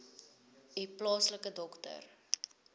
u plaaslike dokter